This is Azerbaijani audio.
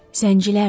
Zəncilərdi.